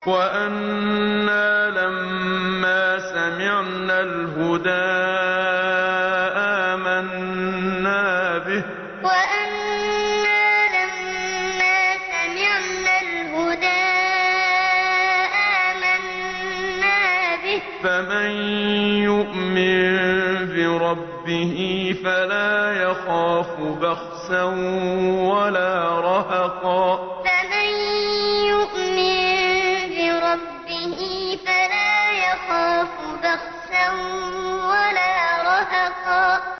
وَأَنَّا لَمَّا سَمِعْنَا الْهُدَىٰ آمَنَّا بِهِ ۖ فَمَن يُؤْمِن بِرَبِّهِ فَلَا يَخَافُ بَخْسًا وَلَا رَهَقًا وَأَنَّا لَمَّا سَمِعْنَا الْهُدَىٰ آمَنَّا بِهِ ۖ فَمَن يُؤْمِن بِرَبِّهِ فَلَا يَخَافُ بَخْسًا وَلَا رَهَقًا